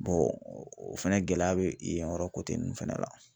o fɛnɛ gɛlɛya bɛ yen yɔrɔ ninnu fɛnɛ la